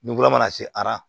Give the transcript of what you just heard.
Nukunla mana se ara